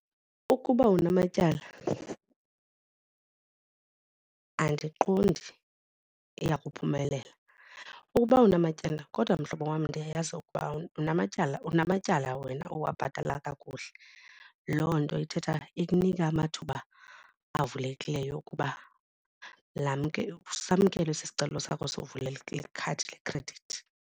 Ukuba unamatyala andiqondi iya kuphumelela. Ukuba unamatyala kodwa mhlobo wam ndiyayazi ukuba unamatyala unamatyala wena owabhatala kakuhle loo nto ithetha ikunika amathuba avulekileyo okuba samkelwe esi sicelo sakho le khadi yekhredithi.